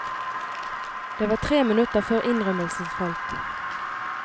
Det var tre minutter før innrømmelsen falt.